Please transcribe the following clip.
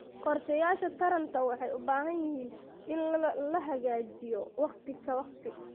Qorshayaasha taranta waxay u baahan yihiin in la hagaajiyo waqti ka waqti.